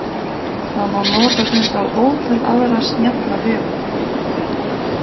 Það má nota þetta á ótal aðra snjalla vegu.